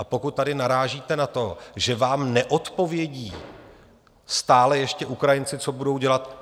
A pokud tady narážíte na to, že vám neodpovědí stále ještě Ukrajinci, co budou dělat?